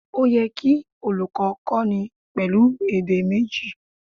Ó yẹ kí olùkó kó ni pèlú èdè méjì